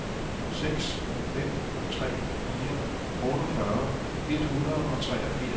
seks fem tre fire otteogfyrre et hundrede og treogfirs